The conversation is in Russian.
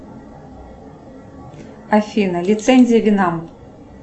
афина лицензия вина